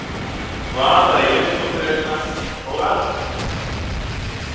Vaða í uppþvottavélina og allt.